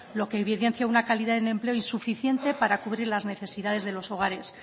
lo que evidencia una calidad en empleo insuficiente para cubrir las necesidades de los hogares